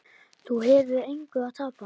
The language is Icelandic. Þú hefur engu að tapa.